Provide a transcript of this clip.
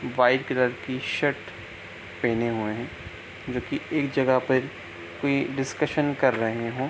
white colour की shirt पहने हुए हैं जो की एक जगह पे वे डिस्कशन कर रहे हैं |